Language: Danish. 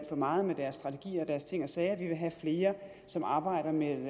for meget med deres strategier og deres ting og sager vi vil have flere som arbejder med